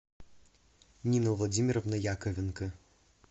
нина владимировна яковенко